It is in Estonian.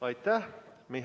Aitäh!